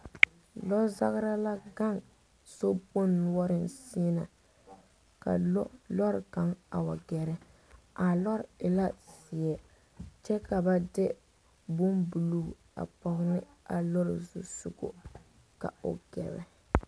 Lozagre la gaŋ sokpoŋ noɔreŋ sɛŋ na ka loori kaŋa a wa gɛrɛ a loori e la zeɛ kyɛ ka ba de boŋ buluu a pɔge ne a loori zusɔgɔ ka o gɛrɛ.